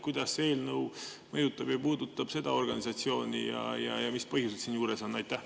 Kuidas see eelnõu mõjutab ja puudutab seda organisatsiooni ja mis põhjused siin juures on?